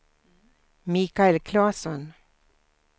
Mikael Claesson